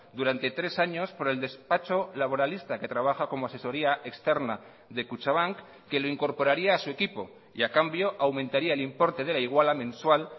durante tres años por el despacho laboralista que trabaja como asesoría externa de kutxabank que lo incorporaría a su equipo y a cambio aumentaría el importe de la iguala mensual